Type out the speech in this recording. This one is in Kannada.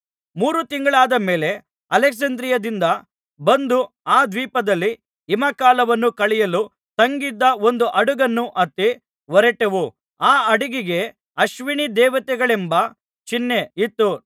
ಮೂರು ತಿಂಗಳಾದ ಮೇಲೆ ಅಲೆಕ್ಸಾಂದ್ರಿಯದಿಂದ ಬಂದು ಆ ದ್ವೀಪದಲ್ಲಿ ಹಿಮಕಾಲವನ್ನು ಕಳೆಯಲು ತಂಗಿದ್ದ ಒಂದು ಹಡಗನ್ನು ಹತ್ತಿ ಹೊರಟೆವು ಆ ಹಡಗಿಗೆ ಅಶ್ವಿನೀದೇವತೆಗಳೆಂಬ ಚಿಹ್ನೆ ಇತ್ತು